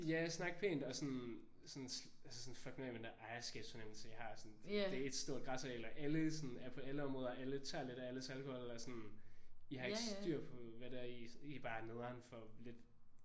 Ja snak pænt og sådan sådan altså sådan fuck nu af med den der ejerskabsfornemmelse I har. Sådan det er ét stort græsareal og alle sådan er på alle områder og alle tager lidt af alles alkohol og sådan I har ikke styr på hvad I det er I er bare nederen for lidt